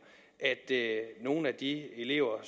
at nogle af de elever